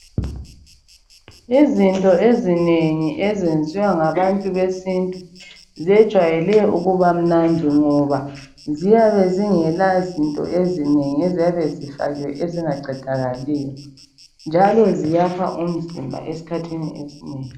Izinto ezinengi ezenziwa ngabantu besintu, zejwayele ukubamnandi ngoba ziyabe zingela zinto ezinengi eziyabe zifakiwe ezingaqedakaliyo, njalo ziyakha umzimba esikhathini esinengi